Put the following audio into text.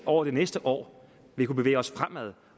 over det næste år vil kunne bevæge os fremad